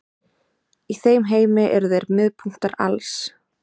Í þeim heimi eru þeir miðpunktar alls.